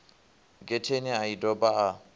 getheni a i doba a